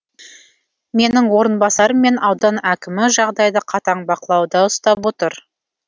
менің орынбасарым мен аудан әкімі жағдайды қатаң бақылауда ұстап отыр